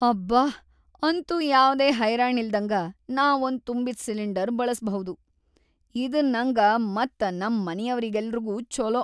ಅಬ್ಬಾ ಅಂತೂ ಯಾವ್ದೇ ಹೈರಾಣಿಲ್ದಂಗ ನಾ ಒಂದ್‌ ತುಂಬಿದ್‌ ಸಿಲಿಂಡರ್‌ ಬಳಸ್ಭೌದು, ಇದ್‌ ನಂಗ ಮತ್‌ ನಮ್ ಮನಿಯವ್ರೆಲ್ಲಾರಿಗೂ ಛೊಲೋ.